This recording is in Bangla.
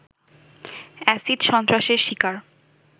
এসিড সন্ত্রাসের শিকার